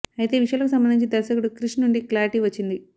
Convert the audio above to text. అయితే ఈ విషయాలకు సంబంధించి దర్శకుడు క్రిష్ నుండి క్లారిటీ వచ్చింది